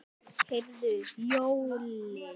Heyrðu Jói.